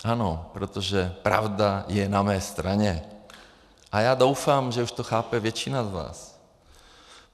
Ano, protože pravda je na mé straně a já doufám, že už to chápe většina z vás.